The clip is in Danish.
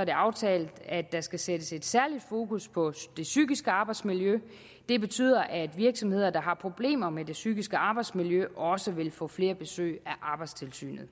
er det aftalt at der skal sættes et særligt fokus på det psykiske arbejdsmiljø det betyder at virksomheder der har problemer med det psykiske arbejdsmiljø også vil få flere besøg af arbejdstilsynet